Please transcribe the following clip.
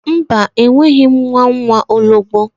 Mba enweghi m nwa nwaologbo